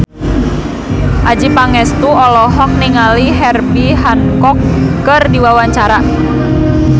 Adjie Pangestu olohok ningali Herbie Hancock keur diwawancara